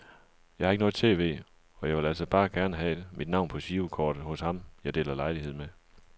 Jeg har ikke noget tv, og jeg ville altså bare gerne have mit navn på girokortet hos ham jeg deler lejlighed med.